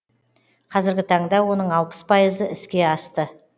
қазіргі таңда оның алпыс пайызы іске асты